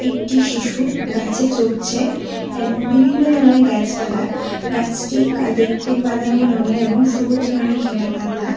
একটি শিশু গাছে চড়ছে এবং বিভিন্ন ধরনের গাছপালা গাছটি দেখতে বাদামি রঙের এবং সবুজ রঙে ঘেরা পাতা।